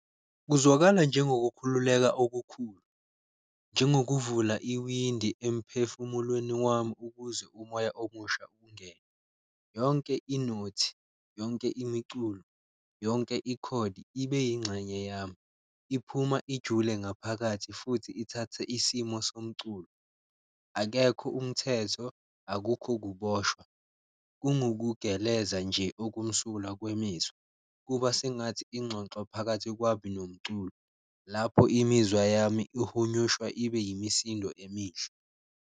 Kuzwakala njengokukhululeka okukhulu njengokuvula iwindi emphefumulweni wami ukuze umoya omusha ungene, yonke inothi, yonke imiculo, yonke ikhodi ibe yingxenye yami iphuma ijule ngaphakathi futhi ithathe isimo somculo. Akekho umthetho, akukho ukuboshwa kungukugeleza nje okumsulwa kwemizwa, kuba sengathi ingxoxo phakathi kwami nomculo, lapho imizwa yami ihunyushwa ibe imisindo emihle.